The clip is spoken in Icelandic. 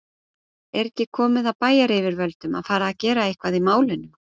Er ekki komið að bæjaryfirvöldum að fara gera eitthvað í málinu?